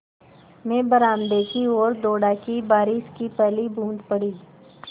मैं बरामदे की ओर दौड़ा कि बारिश की पहली बूँद पड़ी